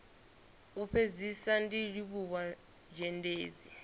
u fhedzisa ndi livhuwa zhendedzi